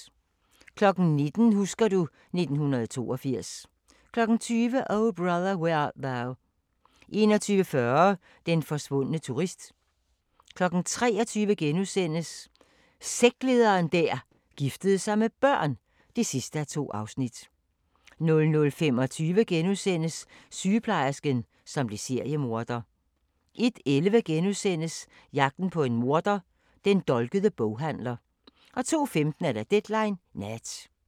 19:00: Husker du ... 1982 20:00: O Brother, Where Art Thou 21:40: Den forsvundne turist 23:00: Sektlederen der giftede sig med børn (2:2)* 00:25: Sygeplejersken, som blev seriemorder * 01:11: Jagten på en morder: Den dolkede boghandler * 02:15: Deadline Nat